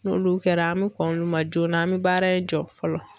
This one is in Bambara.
N'olu kɛra an bɛ kɔn k'olu ma joona an bɛ baara in jɔ fɔlɔ.